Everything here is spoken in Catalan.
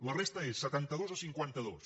la resta és setantados a cinquantados